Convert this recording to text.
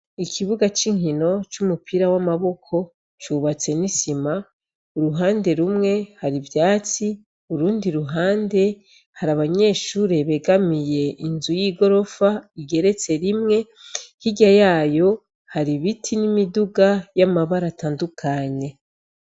Ikibuga c’inkino c’umupira w’amaboko cubatse n’isima uruhande rumwe har’ivyatsi, urundi ruhande , har’abanyeshure begamiye Inzu y’igorofa igeretse rimwe , hirya yayo hari ibiti n’imiduga y’amabara atandukanye.